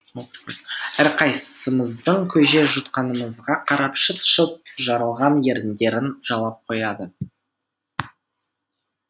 әрқайсымыздың көже жұтқанымызға қарап шыт шыт жарылған еріндерін жалап қояды